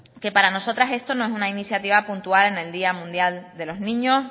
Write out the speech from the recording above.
que para nosotras esto no es una iniciativa puntual en el día mundial de los niños